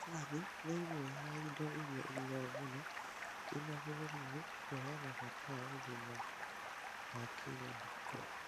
Macani nĩ ĩmwe ya indo iria inyuagwo mũno kĩmabũrũriinĩ kũheana bata wa ũgima na wa kĩmũhuko